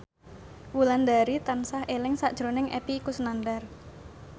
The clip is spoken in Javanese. Wulandari tansah eling sakjroning Epy Kusnandar